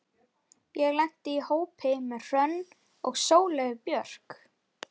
Ég lenti í hópi með Hrönn og Sóleyju Björk.